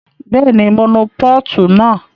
Bẹ́ẹ̀ni, mo nu pọ́ọ̀tù náà